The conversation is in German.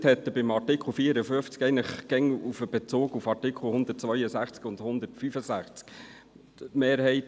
Bei Artikel 54 hat er in seiner Begründung eigentlich immer Bezug auf die Artikel 162 und 165 genommen.